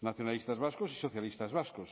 nacionalistas vascos y socialistas vascos